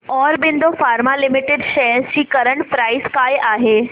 Aurobindo pharma limited shares ची current price काय आहे